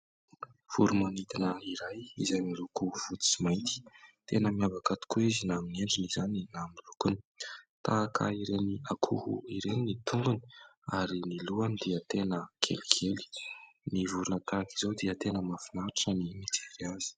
Voromanidina iray izay miloko fotsy sy mainty. Tena miavaka tokoa izy na amin'ny endriny izany na ny lokony. Tahaka ireny akoho ireny ny tongony ary ny lohany dia tena kelikely. Ny vorona tahaka izao dia tena mahafinaritra ny mijery azy.